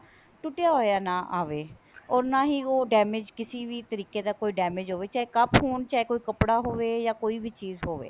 ਟੁੱਟਿਆ ਹੋਇਆ ਨਾ ਆਵੇ or ਨਾ ਹੀ ਉਹ damage ਕਿਸੇ ਵੀ ਤਰੀਕੇ ਦਾ ਕੋਈ damage ਹੋਵੇ ਚਾਹੇ ਕੱਪ ਹੋਣ ਚਾਹੇ ਕੋਈ ਕੱਪੜਾ ਹੋਵੇ ਜਾਂ ਕੋਈ ਵੀ ਚੀਜ਼ ਹੋਵੇ